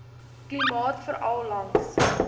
klimaat veral langs